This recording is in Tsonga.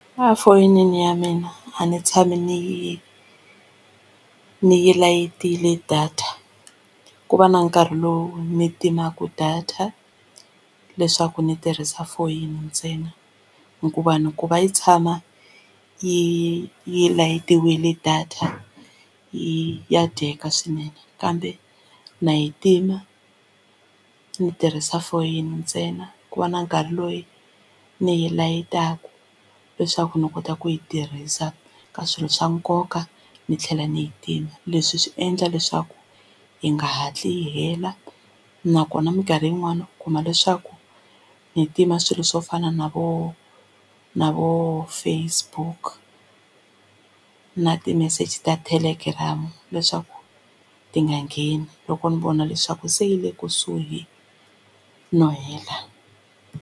A fonini ya mina a ni tshami ni yi ni yi layitile data ku va na nkarhi lowu ni timaka data leswaku ni tirhisa foyini ntsena hikuva ni ku va yi tshama yi yi layitiwile data yi ya dyeka swinene kambe na yi tima ni tirhisa foyini ntsena ku va na nkarhi loyi ni yi layitaka leswaku ndzi kota ku yi tirhisa ka swilo swa nkoka ni tlhela ni yi tima leswi swi endla leswaku yi nga hatli yi hela nakona mikarhi yin'wani u kuma leswaku ni tima swilo swo fana na vo na vo Facebook na ti-message ta Telegram leswaku ti nga ngheni loko ni vona leswaku se yi le kusuhi no hela.